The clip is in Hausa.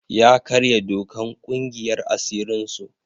Ya karya dokan ƙungiyar asirin su.